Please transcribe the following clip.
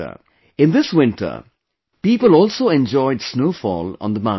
In this winter, people also enjoyed snowfall on the mountains